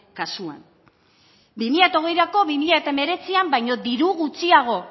kasuan bi mila hogeirako bi mila hemeretzian baino diru gutxiago